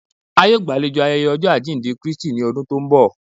A yọ̀ọ́ gbálẹ̀jọ́ ayéyé ojọ́ ajíndẹ̀ Kristì ní ọ̀dún tó nbọ̀